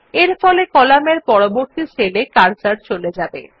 এরফলে কলামের পরবর্তী সেল এ কার্সর চলে যাবে